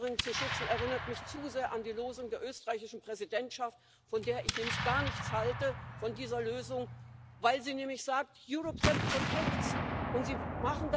the bargain? And yet, patriotism at a European level is a good and a virtuous thing. I'm afraid this idea of European patriotism, this idea of putting that flag above their own nation state flag is